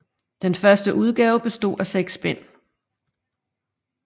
Den første udgave bestod af seks bind